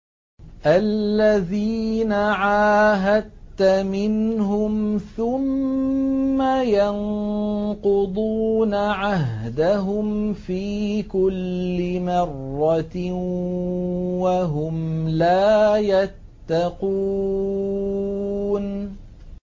الَّذِينَ عَاهَدتَّ مِنْهُمْ ثُمَّ يَنقُضُونَ عَهْدَهُمْ فِي كُلِّ مَرَّةٍ وَهُمْ لَا يَتَّقُونَ